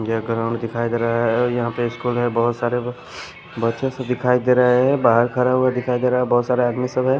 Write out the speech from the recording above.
ये ग्राउंड दिखाई दे रहा है यहाँ पे स्कूल मे बहुत सारे बच्चे से दिखाई दे रहे है बाहर खड़े हुए दिखाई दे रहे है बहुत सारे आदमी इस समय--